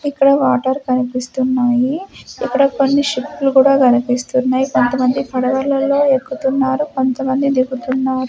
ఇక్కడ వాటర్ కనిపిస్తున్నాయి ఇక్కడ కొన్ని షిప్లు కూడా కనిపిస్తున్నాయి కొంతమంది పడవలలో ఎక్కుతున్నారు కొంతమంది దిగుతున్నారు.